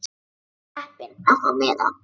Ég var heppin að fá miða.